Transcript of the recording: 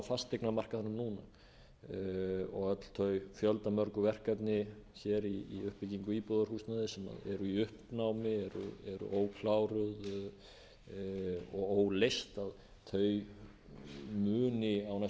fasteignamarkaðnum núna og öll þau fjöldamörgu verkefni hér í uppbyggingu íbúðarhúsnæðis sem eru í uppnámi eru ókláruð og óleyst muni á næstu missirum geta